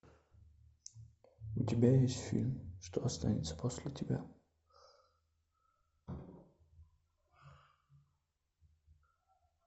у тебя есть фильм что останется после тебя